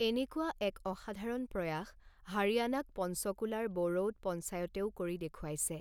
এনেকুৱা এক অসাধাৰণ প্ৰয়াস হাৰিয়ানাক পঞ্চকুলাৰ বড়ৌত পঞ্চায়তেও কৰি দেখুৱাইছে।